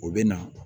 O bɛ na